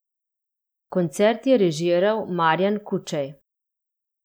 Koncert je režiral Marjan Kučej.